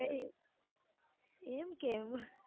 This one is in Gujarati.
એમ કેમ